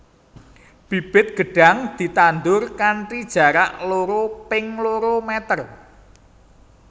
Bibit gedhang ditandur kanthi jarak loro ping loro meter